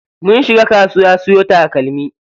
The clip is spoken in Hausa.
Mun shiga kasuwa siyo takalmi.